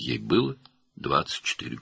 Onun 24 yaşı var idi.